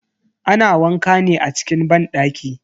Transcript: Ana wanka ne a cikin banɗaki.